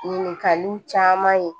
Ɲininkaliw caman ye